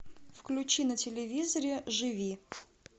включи на телевизоре живи